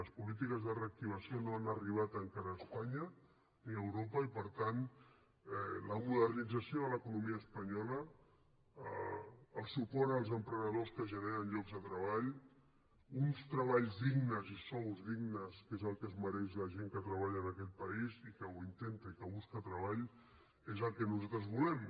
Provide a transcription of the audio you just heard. les polítiques de reactivació no han arribat encara a espanya ni a europa i per tant la modernització de l’economia espanyola el suport als emprenedors que generen llocs de treball uns treballs dignes i sous dignes que és el que es mereix la gent que treballa en aquest país i que ho intenta i que busca treball és el que nosaltres volem